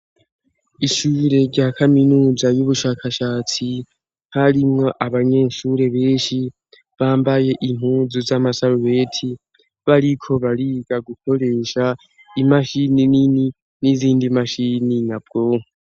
Ishure rya kaminuza y'ubushakashatsi harimwo abanyeshure benshi bambaye impuzu z'amasarubeti bariko bariga gukoresha imashini nini n'izindi mashini nyabwonko.